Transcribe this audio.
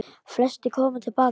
Flestir koma til baka